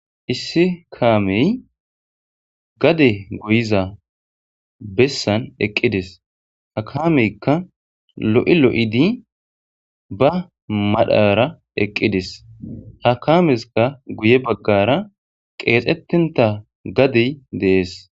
Issi kamey gade goyza besan eqides. Lo'i lo'id ba madhara eqides. Ha kameska guye bagara qexetonta gadey de'es.